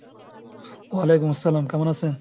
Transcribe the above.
ওয়ালাইকুম আসসালাম! কেমন আসেন?